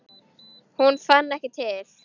Hún fann ekki til.